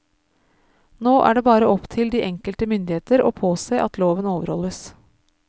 Nå er det bare opp til de enkelte myndigheter å påse at loven overholdes.